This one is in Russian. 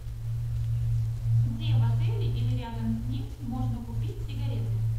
где в отеле или рядом с ним можно купить сигареты